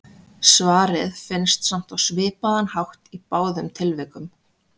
Svarið finnst samt á svipaðan hátt í báðum tilvikum.